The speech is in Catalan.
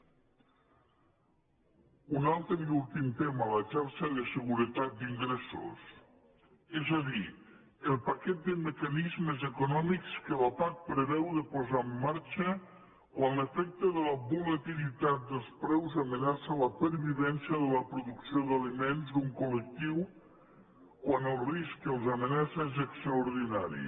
un altre i últim tema la xarxa de seguretat d’ingressos és a dir el paquet de mecanismes econòmics que la pac preveu de posar en marxa quan l’efecte de la volatilitat dels preus amenaça la pervivència de la producció d’aliments d’un col·lectiu quan els risc que els amenaça és extraordinari